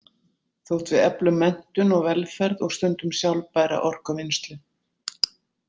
Þótt við eflum menntun og velferð og stundum sjálfbæra orkuvinnslu.